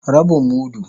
Rabin mudu.